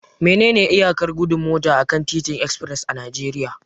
Menene iyakar gudun mota akan titin express a Najeriya?